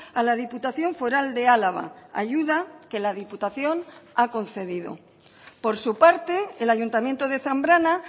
a la diputación foral de álava ayuda que la diputación ha concedido por su parte el ayuntamiento de zambrana